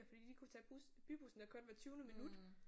Fordi de kunne tage bus bybussen der kørte hvert tyvende minut